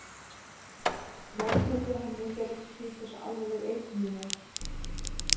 Meðferð við henni fer eftir því hversu alvarleg eitrunin er.